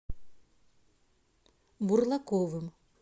бурлаковым